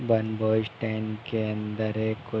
One boy stand के अंदर है। को --